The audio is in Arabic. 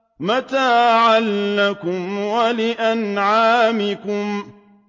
مَّتَاعًا لَّكُمْ وَلِأَنْعَامِكُمْ